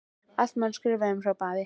Allt má nú skrifa um, hrópaði afi.